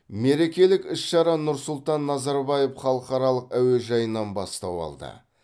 мерекелік іс шара нұрсұлтан назарбаев халықаралық әуежайынан бастау алды